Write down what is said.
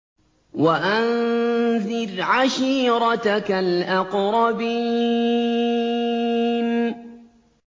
وَأَنذِرْ عَشِيرَتَكَ الْأَقْرَبِينَ